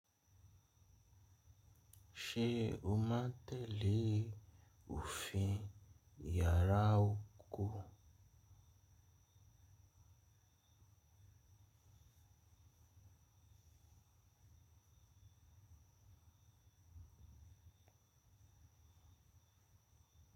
Ṣé o máa tẹ̀lé òfin yàrá oko?